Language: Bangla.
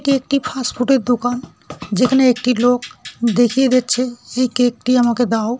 এটি একটি ফাস্ট ফুড -এর দোকান। যেখানে একটি লোক দেখিয়ে দিচ্ছে এই কেক -টি আমাকে দাও ।